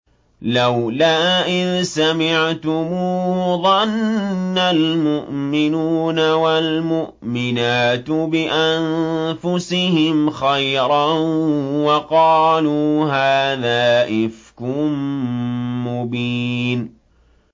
لَّوْلَا إِذْ سَمِعْتُمُوهُ ظَنَّ الْمُؤْمِنُونَ وَالْمُؤْمِنَاتُ بِأَنفُسِهِمْ خَيْرًا وَقَالُوا هَٰذَا إِفْكٌ مُّبِينٌ